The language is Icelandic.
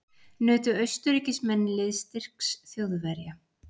Nutu Austurríkismenn liðsstyrks Þjóðverja.